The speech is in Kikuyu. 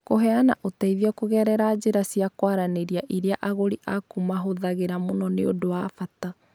Kũheana ũteithio kũgerera njĩra cia kwaranĩria iria agũri aaku mahũthagĩra mũno nĩ ũndũ wa bata.